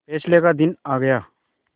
फैसले का दिन आ गया